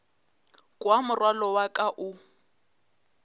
kwa morwalo wa ka o